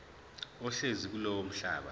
ohlezi kulowo mhlaba